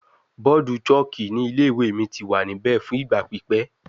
Bọọdu chalk ni ile-iwe mi ti wa nibẹ fun igba pipẹ